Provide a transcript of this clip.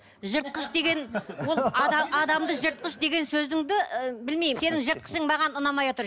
жыртқыш деген ол адамды жыртқыш деген сөзіңді ы білмеймін сенің жыртқышың маған ұнамай отыр